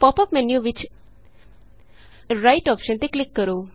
ਪਾਪ up menu ਵਿਚ right option ਤੇ ਕਲਿਕ ਕਰੋ